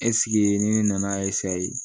ni ne nana